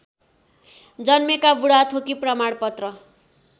जन्मेका बुढाथोकी प्रमाणपत्र